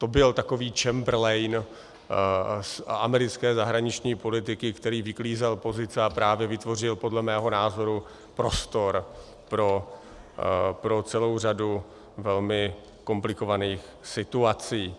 To byl takový Chamberlain americké zahraniční politiky, který vyklízel pozice a právě vytvořil podle mého názoru prostor pro celou řadu velmi komplikovaných situací.